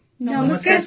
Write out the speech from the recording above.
ଆଜ୍ଞା ନମସ୍କାର